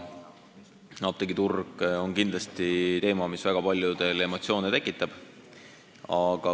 Apteegiturg on kindlasti teema, mis väga paljudel emotsioone tekitab.